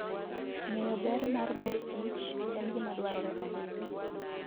Ng'eyo ber mar mor kich en gima dwarore ahinya.